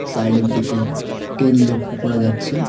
সাইডের দিকে টিন লক্ষ করা যাচ্ছে।